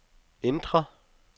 indre